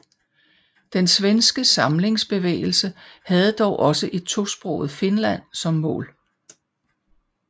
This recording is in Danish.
Den svenske samlingsbevægelse havde dog også et tosproget Finland som mål